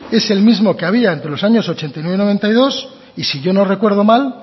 es el mismo que había entre los años ochenta y nueve y noventa y dos y si yo no recuerdo mal